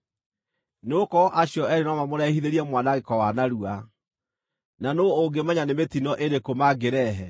nĩgũkorwo acio eerĩ no mamũrehithĩrie mwanangĩko wa narua, na nũũ ũngĩmenya nĩ mĩtino ĩrĩkũ mangĩrehe?